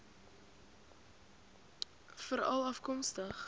veralafkomstig